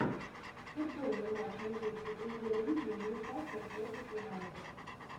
футбольный матч английской премьер лиги ньюкасл против юнайтед